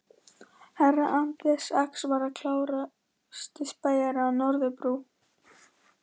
Herra Anders Ax var klárasti spæjarinn á Norðurbrú.